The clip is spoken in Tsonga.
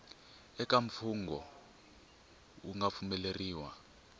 eka mfungho wu nga pfumeleriwa